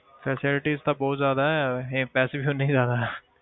Facilities ਤਾਂ ਬਹੁਤ ਜ਼ਿਆਦਾ ਹੈ ਹੈਂ ਪੈਸੇ ਵੀ ਉਨੇ ਹੀ ਜ਼ਿਆਦਾ ਹੈ।